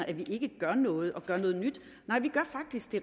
at vi ikke gør noget og gør noget nyt